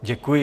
Děkuji.